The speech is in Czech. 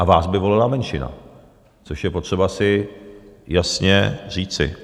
A vás by volila menšina, což je potřeba si jasně říci.